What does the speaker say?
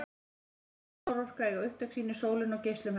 Vind- og sólarorka eiga upptök sín í sólinni og geislum hennar.